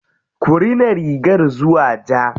Ku rina rigar zuwa ja.